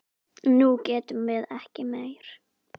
Nú getum við ekki meir.